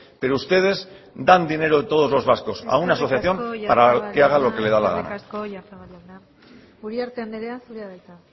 pero ustedes dan dinero de todos los vascos a una asociación para que haga lo que le da la gana eskerrik asko oyarzabal jauna uriarte andrea zurea da hitza